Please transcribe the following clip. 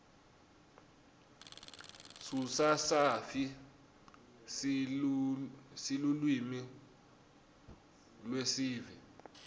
sususafi silulwimi lweesive